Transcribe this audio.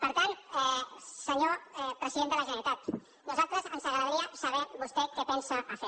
per tant senyor president de la generalitat a nosaltres ens agradaria saber vostè què pensa fer